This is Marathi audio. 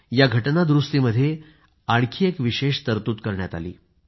या घटना दुरूस्तीमध्ये आणखी एक विशेष तरतूद करण्यात आली